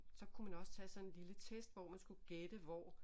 Så kunne man også tage sådan en lille test hvor man skulle gætte hvor